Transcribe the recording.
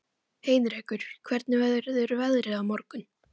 Heinrekur, hvernig verður veðrið á morgun?